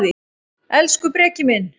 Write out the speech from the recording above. Elsku Breki minn.